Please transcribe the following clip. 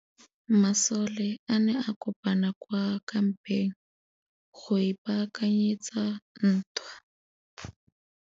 Masole a ne a kopane kwa kampeng go ipaakanyetsa ntwa.